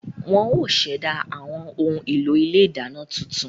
Wọ́n ó ṣẹ̀dá àwọn ohun èlò ilé ìdáná tuntun